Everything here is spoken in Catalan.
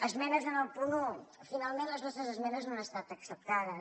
esmenes en el punt un finalment les nostres esmenes no han estat acceptades